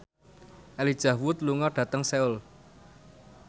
Elijah Wood lunga dhateng Seoul